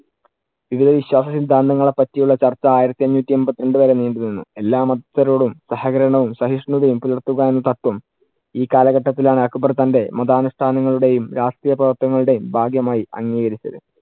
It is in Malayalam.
ഇവയിൽ വിശ്വാസ സിദ്ധാന്തങ്ങളെ പറ്റിയുള്ള ചർച്ച ആയിരത്തി അഞ്ഞൂറ്റി എണ്‍പത്തി രണ്ടു വരെ നീണ്ടുനിന്നു. എല്ലാ മതസ്ഥരോടും സഹകരണവും സഹിഷ്ണതയും പുലർത്തുക എന്ന തത്വം ഈ കാലഘട്ടത്തിൽ ആണ് അക്ബർ തന്‍റെ മതാനുഷ്ടാനങ്ങളുടെയും രാഷ്ട്രീയപ്രവർത്തനങ്ങളുടെയും ഭാഗ്യമായി അംഗീകരിച്ചത്.